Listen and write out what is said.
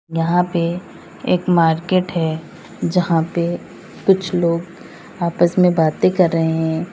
यहां पे एक मार्केट है जहां पे कुछ लोग आपस में बातें कर रहे हैं।